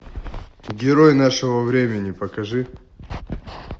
герой нашего времени покажи